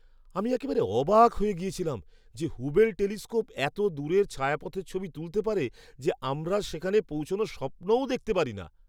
আমি একেবারে অবাক হয়ে গিয়েছিলাম যে হুবেল টেলিস্কোপ এত দূরের ছায়াপথের ছবি তুলতে পারে যে আমরা সেখানে পৌঁছানোর স্বপ্নও দেখতে পারি না!